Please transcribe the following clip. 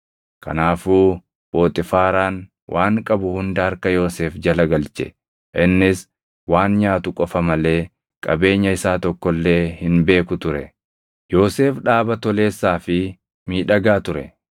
Kanaafuu Phoxiifaaraan waan qabu hunda harka Yoosef jala galche; innis waan nyaatu qofa malee qabeenya isaa tokko illee hin beeku ture. Yoosef dhaaba toleessaa fi miidhagaa ture;